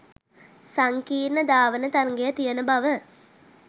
සංකීර්ණ ධාවන තරගය තියෙන බව